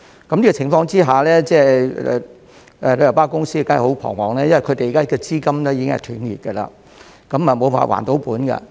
在此情況下，旅遊巴公司當然十分彷徨，因為現時資金已經斷裂，無法還本。